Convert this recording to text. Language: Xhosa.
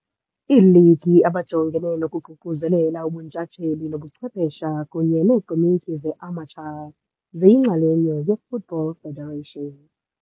Iiligi bajongene nokuququzelela ubuntshatsheli obuchwephesha kunye neekomityi ze-amateur, ziyingxenye ye-Football Federation.